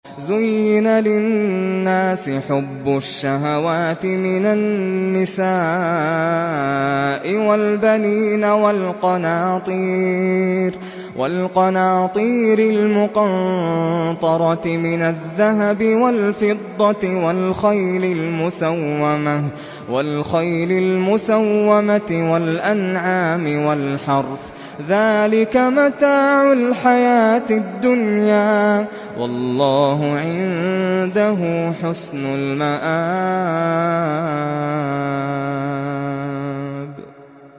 زُيِّنَ لِلنَّاسِ حُبُّ الشَّهَوَاتِ مِنَ النِّسَاءِ وَالْبَنِينَ وَالْقَنَاطِيرِ الْمُقَنطَرَةِ مِنَ الذَّهَبِ وَالْفِضَّةِ وَالْخَيْلِ الْمُسَوَّمَةِ وَالْأَنْعَامِ وَالْحَرْثِ ۗ ذَٰلِكَ مَتَاعُ الْحَيَاةِ الدُّنْيَا ۖ وَاللَّهُ عِندَهُ حُسْنُ الْمَآبِ